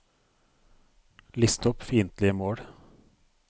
list opp fiendtlige mål